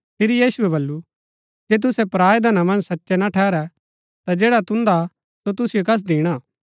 फिरी यीशुऐ बल्लू जे तुसै पराऐ धना मन्ज सचै ना ठेहरै ता जैडा तुन्दा सो तुसिओ कस दिणा